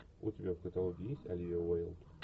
у тебя в каталоге есть оливия уайлд